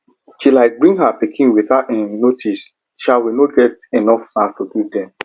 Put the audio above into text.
she um bring her pikin without um notice um we no com get enough snacks to give them